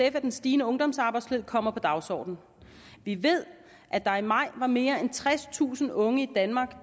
at den stigende ungdomsarbejdsløshed kommer på dagsordenen vi ved at der i maj var mere end tredstusind unge i danmark